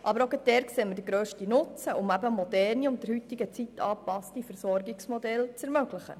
Aber auch dort sehen wir den grössten Nutzen, um eben moderne und der heutigen Zeit angepasste Versorgungsmodelle zu ermöglichen.